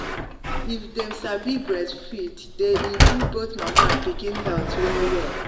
if them sabi breastfeed sabi breastfeed welle day improve both mama and pikin health well well.